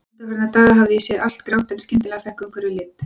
Undanfarna daga hafði ég séð allt grátt en skyndilega fékk umhverfið lit.